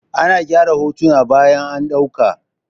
A na gyara hotuna bayan an ɗauka.